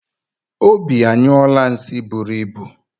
Obi anyụọla nsi buru ịbụ